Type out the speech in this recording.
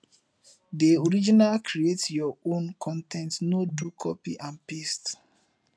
de original create your own con ten t no do copy and paste